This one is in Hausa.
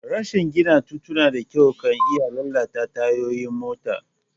Rashi gina tituna da kyau ka iya lalata tayoyin mota.